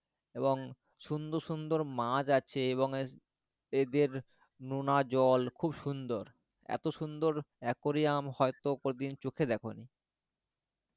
এবং সুন্দর সুন্দর মাছ আছে এবং এদের নোনা জল খুব সুন্দর এত সুন্দর aquarium হয়ত কোনোদিন চোখে দেখনি